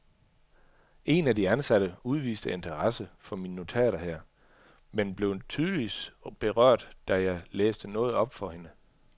En af de ansatte udviste interesse for mine notater her, men blev tydeligvis berørt, da jeg læste noget op for hende.